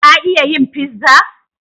Ka iya yin pizza?